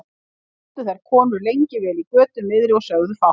Sátu þær konur lengi vel í götu miðri og sögðu fátt.